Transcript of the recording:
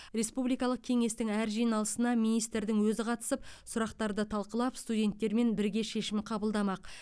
республикалық кеңестің әр жиналысына министрдің өзі қатысып сұрақтарды талқылап студенттермен бірге шешім қабылдамақ